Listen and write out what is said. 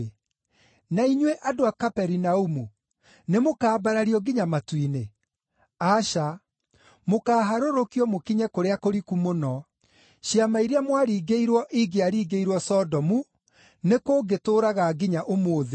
Na inyuĩ, andũ a Kaperinaumu, nĩmũkambarario nginya matu-inĩ? Aca, mũkaaharũrũkio mũkinye kũrĩa kũriku mũno. Ciama iria mwaringĩirwo ingĩaringĩirwo Sodomu, nĩkũngĩtũũraga nginya ũmũthĩ.